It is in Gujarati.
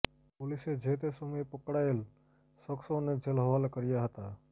પોલીસે જે તે સમયે પકડાયેલ સખ્સોને જેલ હવાલે કર્યા હતા